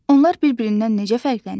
Onlar bir-birindən necə fərqlənir?